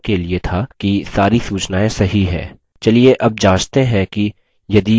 चलिए अब जाँचते हैं कि यदि यूज़र account बना है